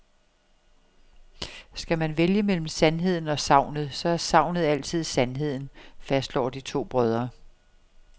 Skal man vælge mellem sandheden og sagnet, så er sagnet altid sandheden, fastslår de to brødre.